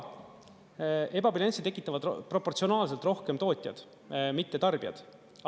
Ebabilanssi tekitavad proportsionaalselt rohkem tootjad, mitte tarbijad.